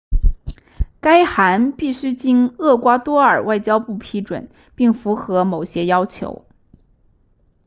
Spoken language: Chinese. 该函必须经厄瓜多尔外交部批准并符合某些要求